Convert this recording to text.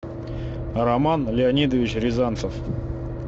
роман леонидович рязанцев